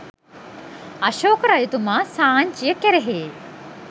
අශෝක රජතුමා සාංචිය කෙරෙහි